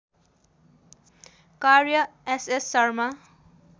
कार्य एसएस शर्मा